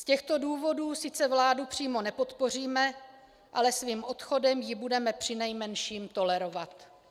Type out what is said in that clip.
Z těchto důvodů sice vládu přímo nepodpoříme, ale svým odchodem ji budeme přinejmenším tolerovat.